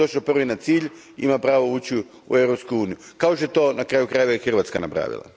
Tko je prvi došao na cilj, ima pravo ući u Europsku uniju, kao što je to, na kraju krajeva, i Hrvatska napravila.